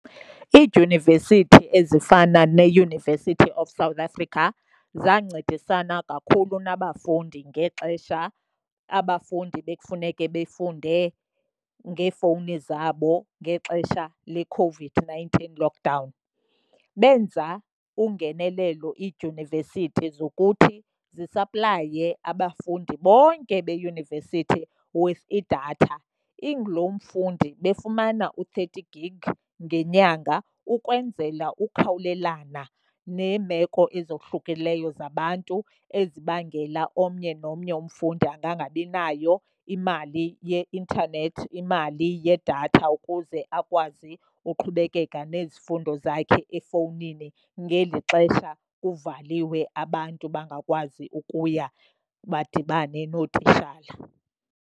Iidyunivesithi ezifana neUniversity of South Africa zancedisana kakhulu nabafundi ngexesha abafundi bekufuneke bafunde ngeefowuni zabo ngexesha leCOVID-nineteen lockdown. Benza ungenelelo iidyunivesithi zokuthi zisaplaye abafundi bonke beyunivesithi with idatha. Inguloo mfundi befumana u-thirty gig ngenyanga ukwenzela ukhawulelana neemeko ezohlukileyo zabantu ezibangela omnye nomnye umfundi angangabinayo imali ye-intanethi, imali yedatha ukuze akwazi uqhubekeka nezifundo zakhe efowunini ngeli xesha kuvaliwe abantu bangakwazi ukuya badibane nootishala.